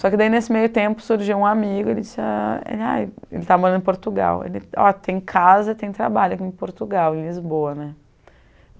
Só que daí nesse meio tempo surgiu um amigo, ele disse, ah é aí, ele está morando em Portugal, ó, tem casa e tem trabalho aqui em Portugal, em Lisboa, né?